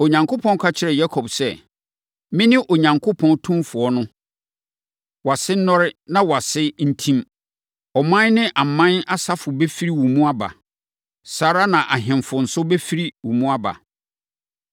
Onyankopɔn ka kyerɛɛ Yakob sɛ, “Mene Onyankopɔn tumfoɔ no. Wʼase nnɔre, na wʼase mfɛe. Ɔman ne aman asafo bɛfiri wo mu aba. Saa ara na ahemfo nso bɛfiri wo mu aba.